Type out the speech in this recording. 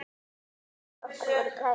Feður okkar voru bræður.